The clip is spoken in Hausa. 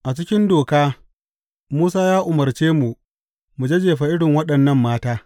A cikin Doka Musa ya umarce mu, mu jajjefe irin waɗannan mata.